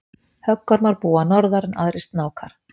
höggormar búa norðar en aðrir snákar